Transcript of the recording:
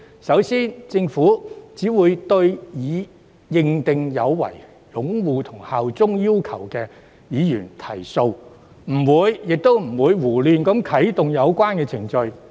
首先，政府只會對已被依法認定有違擁護《基本法》和效忠特區要求的議員提訴，不會胡亂啟動有關程序。